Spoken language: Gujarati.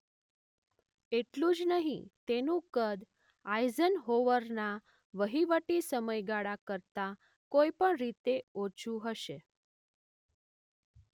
એટલું જ નહીં તેનું કદ આઇઝનહોવરના વહીવટી સમયગાળા કરતાં કોઈ પણ રીતે ઓછું હશે.